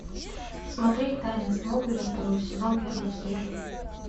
смотреть тайны смолвиля второй сезон первую серию